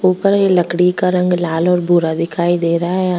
ऊपर ये लकड़ी का रंग लाल और बूरा दिखाई दे रहा है यह।